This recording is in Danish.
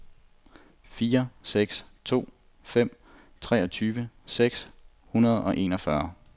fire seks to fem treogtyve seks hundrede og enogfyrre